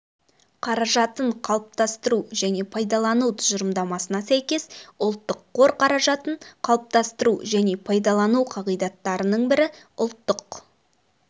қаражатын қалыптастыру және пайдалану тұжырымдамасына сәйкес ұлттық қор қаражатын қалыптастыру және пайдалану қағидаттарының бірі ұлттық